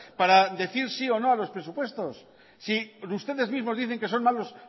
para decir sí o no a los presupuestos si ustedes mismos dicen que son malos